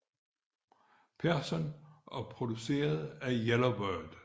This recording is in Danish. Persson og produceret af Yellow Bird